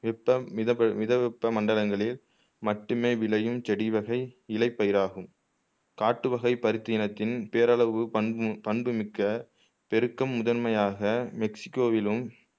வெப்பம் மித மிதவெப்பம் மண்டலங்களில் மட்டுமே விளையும் செடி வகை இழைப்பயிராகும் காட்டுவகை பருத்தி இனத்தின் பேரளவு பண் பண்புமிக்க பெருக்கும் முதன்மையாக மெக்சிகோவிலும்